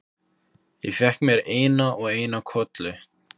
Ég fékk mér eina og eina kollu.